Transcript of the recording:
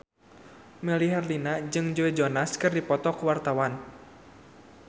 Melly Herlina jeung Joe Jonas keur dipoto ku wartawan